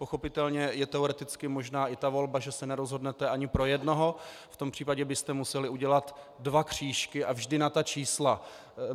Pochopitelně je teoreticky možná i ta volba, že se nerozhodnete ani pro jednoho, v tom případě byste museli udělat dva křížky, a vždy na ta čísla.